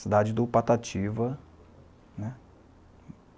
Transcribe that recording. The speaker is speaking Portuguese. Cidade do Patativa, né.